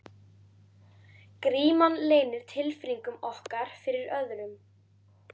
Gríman leynir tilfinningum okkar fyrir öðrum.